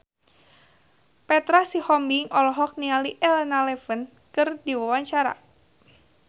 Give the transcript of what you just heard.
Petra Sihombing olohok ningali Elena Levon keur diwawancara